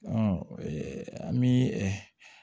an bi